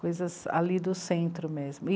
Coisas ali do centro mesmo.